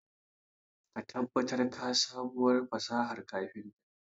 Ka tabbatar ka sabuwar fasahar kafinta.